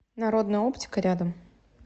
народная оптика рядом